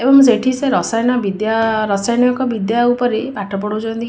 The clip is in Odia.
ଏବଂ ସେଠି ସେ ରସାୟନ ବିଦ୍ୟା ରସାୟନିକ ବିଦ୍ୟା ଉପରେ ପାଠ ପଢଉଚନ୍ତି।